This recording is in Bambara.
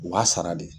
U b'a sara de